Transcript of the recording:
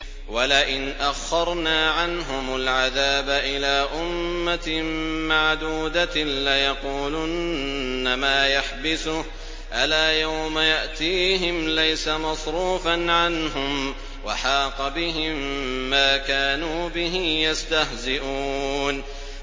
وَلَئِنْ أَخَّرْنَا عَنْهُمُ الْعَذَابَ إِلَىٰ أُمَّةٍ مَّعْدُودَةٍ لَّيَقُولُنَّ مَا يَحْبِسُهُ ۗ أَلَا يَوْمَ يَأْتِيهِمْ لَيْسَ مَصْرُوفًا عَنْهُمْ وَحَاقَ بِهِم مَّا كَانُوا بِهِ يَسْتَهْزِئُونَ